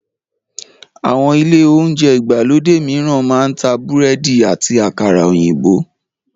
Àwọn ilé oúnjẹ ìgbàlódé mìíran máa ń ta búrẹ́dì àti àkàrà òyìnbó